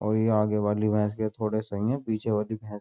और ये आगे वाली भैंस के थोड़े सही है। पीछे वाली भैंस --